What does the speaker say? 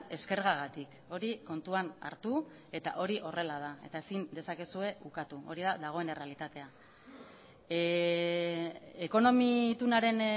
eskergagatik hori kontuan hartu eta hori horrela da eta ezin dezakezue ukatu hori da dagoen errealitatea ekonomi itunaren